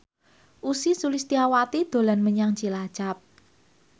Ussy Sulistyawati dolan menyang Cilacap